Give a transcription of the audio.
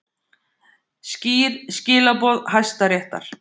Skýr skilaboð Hæstaréttar